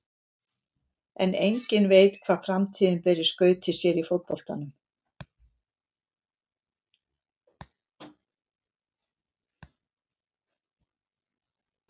En enginn veit hvað framtíðin ber í skauti sér í fótboltanum.